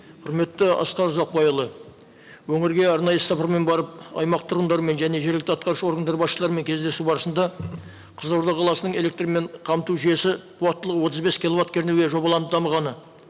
құрметті асқар ұзақбайұлы өңірге арнайы іс сапармен барып аймақ тұрғындарымен және жергілікті атқарушы органдар басшыларымен кездесу барысында қызылорда қаласының электрмен қамту жүйесі қуаттылығы отыз бес киловатт кернеуге жобаланып дамығаны